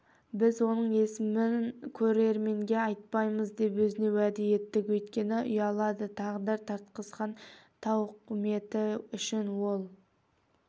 біз оның есімін көрерменге айтпаймыз деп өзіне уәде еттік өйткені ұялады тағдыр тартқызған тауқыметі үшін ол